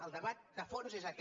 el debat de fons és aquest